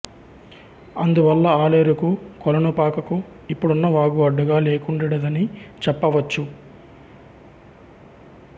అందువల్ల ఆలేరుకు కొలనుపాకకు ఇప్పుడున్న వాగు అడ్డుగా లేకుండెడిదని చెప్పవచ్చు